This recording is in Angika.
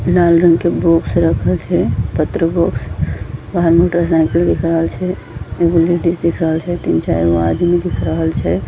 लाल रंग के बॉक्स रखल छै पत्र बॉक्स बाहर मोटर साइकिल दिख रहल छै एगो लेडिज दिख रहल छै तीन-चारगो आदमी दिख रहल छै।